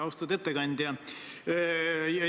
Austatud ettekandja!